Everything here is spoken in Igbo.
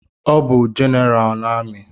Ọ bụ General na amị